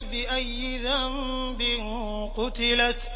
بِأَيِّ ذَنبٍ قُتِلَتْ